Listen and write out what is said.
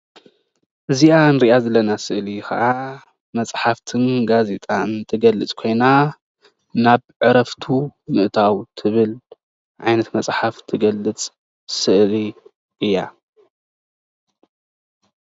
እዚኣ እንሪኣ ዘለና ስእሊ ከዓ መፅሓፍትን ጋዜጣን እንትገልፅ ኮይና ናብ ዕረፍቱ ምእታው ትብል ዓይነት መጽሓፍ ትገልፅ ስእሊ እያ።